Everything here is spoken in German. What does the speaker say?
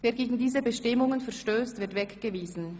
Wer gegen diese Bestimmungen verstösst, wird weggewiesen.